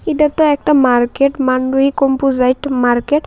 এইটা একটা একটা মার্কেট মানডয়ী কম্পোজাইট মার্কেট ।